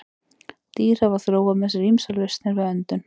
Dýr hafa þróað með sér ýmsar lausnir við öndun.